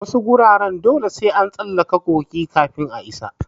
Wasu wuraren dole sai an tsallake kogi kafin a isa.